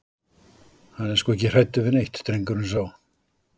Hann er sko ekki hræddur við neitt, drengurinn sá.